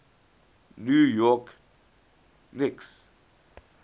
new york knicks